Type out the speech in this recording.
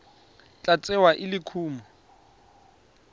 tla tsewa e le kumo